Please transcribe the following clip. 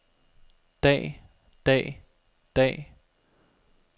dag dag dag